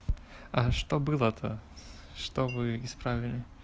а что было-то что вы исправили